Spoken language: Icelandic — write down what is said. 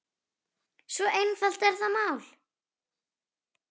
Svo einfalt er það mál.